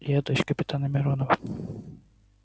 я дочь капитана миронова